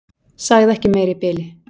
Sagði ekki meira í bili.